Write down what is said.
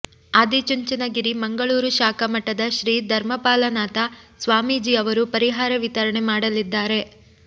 ಆದಿಚುಂಚನಗಿರಿ ಮಂಗಳೂರು ಶಾಖಾ ಮಠದ ಶ್ರೀ ಧರ್ಮಪಾಲನಾಥ ಸ್ವಾಮೀಜಿಯವರು ಪರಿಹಾರ ವಿತರಣೆ ಮಾಡಲಿದ್ದಾರೆ